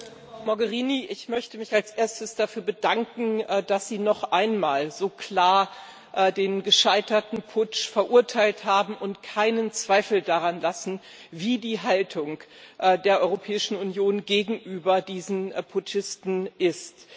Herr Präsident, Frau Mogherini! Ich möchte mich als erstes dafür bedanken, dass Sie noch einmal so klar den gescheiterten Putsch verurteilt haben und keinen Zweifel daran lassen, wie die Haltung der Europäischen Union gegenüber diesen Putschisten ist.